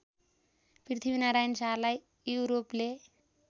पृथ्वीनारायण शाहलाई युरोपले